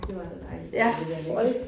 Det var da dejligt at det ikke er længere